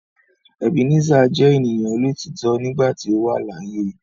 Ebenezer je eniyan olotitọ nigba ti o wa laaye